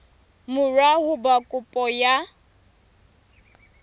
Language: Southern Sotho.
mora ho ba kopo ya